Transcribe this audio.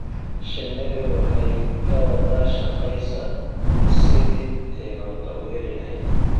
Shinnidu waxay ka wada shaqaysaa sidii ay cunto u heli lahayd.